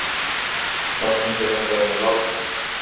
Sá fundur endaði með látum.